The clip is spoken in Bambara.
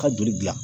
Ka joli dilan